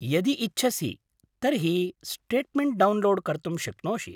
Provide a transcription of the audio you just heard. यदि इच्छसि तर्हि स्टेट्मेण्ट् डौन्लोड् कर्तुं शक्नोषि।